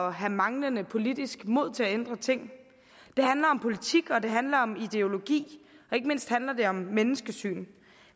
at have manglende politisk mod til at ændre ting det handler om politik og det handler om ideologi og ikke mindst handler det om menneskesyn